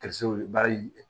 baara in